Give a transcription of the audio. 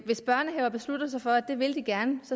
hvis børnehaver beslutter sig for at det vil de gerne